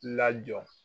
Lajɔ